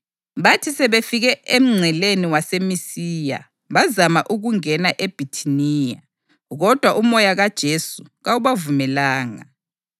Bathi sebefike emngceleni waseMisiya, bazama ukungena eBhithiniya, kodwa uMoya kaJesu kawubavumelanga.